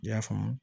I y'a faamu